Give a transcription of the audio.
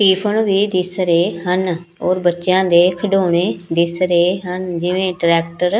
tiffin ਵੀ ਦਿਸ ਰਹੇ ਹਨ ਔਰ ਬੱਚਿਆਂ ਦੇ ਖਿਡੋਣੇ ਦਿਸ ਰਹੇ ਹਨ ਜਿਵੇਂ ਟਰੈਕਟਰ --